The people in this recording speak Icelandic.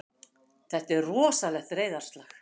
Þetta er rosalegt reiðarslag!